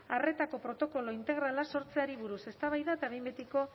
arretako protokolo integrala sortzeari buruz eztabaida eta behin betiko